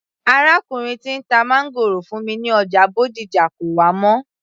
Arákùnrin tí ń ta máńgòrò fún mi ní ọjà Bódìjà kò wá mọ́